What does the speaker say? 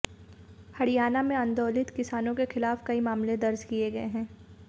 हरियाणा में आंदोलित किसानों के खिलाफ कई मामले दर्ज किए गए हैं